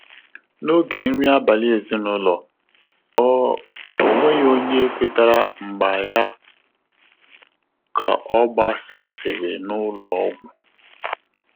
N’ógè nrí ábàlị̀ èzínụ́lọ́, ọ́ ọ́ nwéghị́ ọ́nyé kwétàrà mgbà yá kà ọ́ gbàsàsị́rị̀ n’ụ́lọ́ ọ́gwụ́.